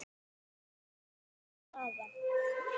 Úrslit og staða